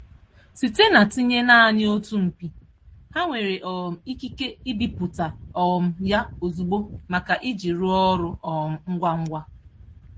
Site na tinye naanị otu mpi, ha nwere um ike ike ibiputa um ya ozugbo maka iji rụọ ọrụ um ngwa ngwa.